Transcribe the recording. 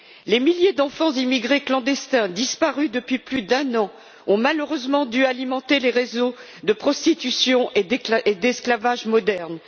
Les milliers d'enfants immigrés clandestins disparus depuis plus d'un an ont malheureusement dû alimenter les réseaux de prostitution et d'esclavage moderne.